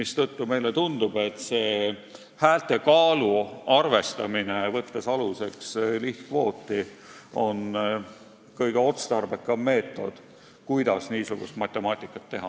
Seetõttu meile tundub, et selline häälte kaalu arvestamine, mis võtab aluseks lihtkvoodi, on kõige otstarbekam meetod, kuidas niisugust matemaatikat teha.